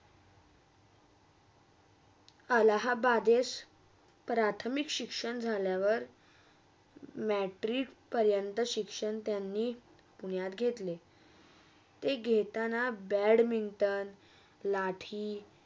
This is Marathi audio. अलाहाबादिस प्राथमिक शिक्षण झाल्यावर matric परंत शिक्षण त्यांनी पुण्यात घेतले ते घेताना बॅटमँटन लाठी